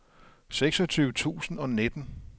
seksogtyve tusind og nitten